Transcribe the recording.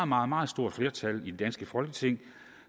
meget meget stort flertal i det danske folketing